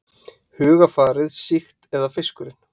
Hugarfarið sýkt eða fiskurinn?